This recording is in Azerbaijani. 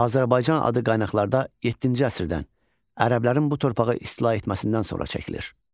Azərbaycan adı qaynaqlarda 7-ci əsrdən ərəblərin bu torpağı istila etməsindən sonra çəkilir.